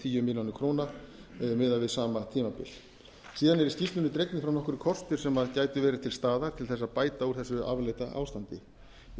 fjögur er ári miðað við sama tímabil síðan eru í skýrslunni dregnir fram nokkrir kostir sem gætu verið til staðar til þess að bæta úr þessu afleita ástandi í